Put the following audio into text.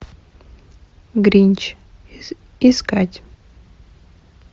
гринч искать